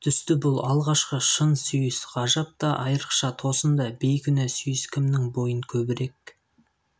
түсті бұл алғашқы шын сүйіс ғажап та айырықша тосын да бейкүнә сүйіс кімнің бойын көбірек